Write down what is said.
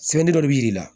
Sɛbɛnni dɔ de b'i la